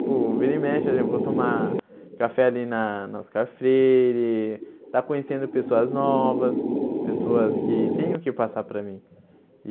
Tipo, vira e mexe, eu vou tomar café ali na na Oscar Freire, estar conhecendo pessoas novas, pessoas que têm o que passar para mim.